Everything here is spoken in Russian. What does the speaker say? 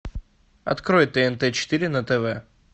открой тнт четыре на тв